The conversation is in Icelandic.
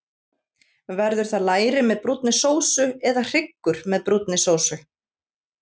Verður það læri með brúnni sósu, eða hryggur með brúnni sósu?